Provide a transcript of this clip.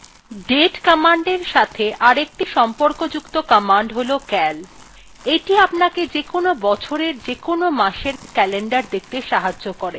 date commandএর সাথে অপর একটি সম্পর্কযুক্ত command calcal command এইটি আপনাকে যেকোন বছরের যেকোন মাসএর calender দেখতে সাহায্য করে